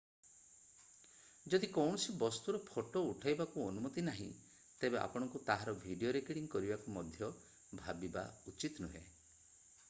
ଯଦି କୌଣସି ବସ୍ତୁର ଫଟୋ ଉଠାଇବାକୁ ଅନୁମତି ନାହିଁ ତେବେ ଆପଣଙ୍କୁ ତାହାର ଭିଡିଓ ରେକର୍ଡିଂ କରିବାକୁ ମଧ୍ୟ ଭାବିବା ଉଚିତ ନୁହେଁ